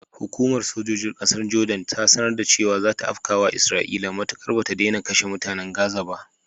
Hukumar sojojin ƙasar Jordan ta sanar da cewa zata afkawa isra'ila matukar bata daina kashe mutanen gaza ba.